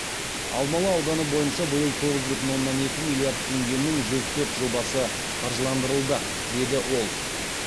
алмалы ауданы бойынша биыл тоғыз бүтін оннан екі миллиард теңгенің жүз төрт жобасы қаржыландырылды деді ол